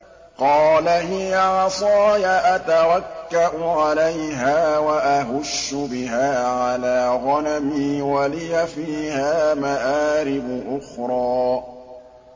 قَالَ هِيَ عَصَايَ أَتَوَكَّأُ عَلَيْهَا وَأَهُشُّ بِهَا عَلَىٰ غَنَمِي وَلِيَ فِيهَا مَآرِبُ أُخْرَىٰ